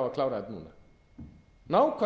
á að klára þetta núna nákvæmlega